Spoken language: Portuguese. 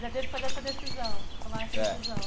Já teve que fazer essa decisão, tomar essa decisão.